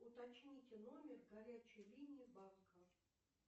уточните номер горячей линии банка